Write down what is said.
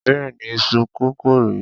Béèni iṣu kókò rè é.